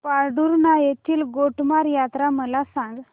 पांढुर्णा येथील गोटमार यात्रा मला सांग